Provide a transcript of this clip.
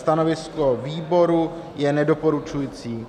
Stanovisko výboru je nedoporučující.